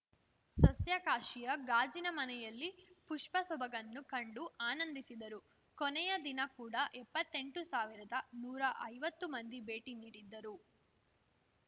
ಸಸ್ಯಕಾಶಿಯ ಗಾಜಿನ ಮನೆಯಲ್ಲಿ ಪುಷ್ಪ ಸೊಬಗನ್ನು ಕಂಡು ಆನಂದಿಸಿದರು ಕೊನೆಯ ದಿನ ಕೂಡ ಎಪ್ಪತ್ತೆಂಟು ಸಾವಿರದನೂರಾ ಐವತ್ತು ಮಂದಿ ಭೇಟಿ ನೀಡಿದ್ದರು